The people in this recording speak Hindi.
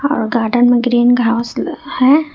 और गार्डन में ग्रीन घास है।